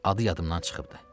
Adı yadımdan çıxıbdır.